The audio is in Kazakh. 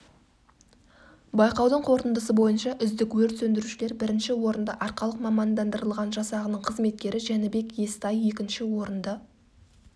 байқаудың қорытындысы бойынша үздік өрт сөндірушілер бірінші орынды арқалық мамандырылған жасағының қызметкері жәнібек естай екінші орынды